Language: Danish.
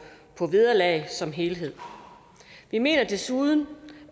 vederlag som helhed vi mener desuden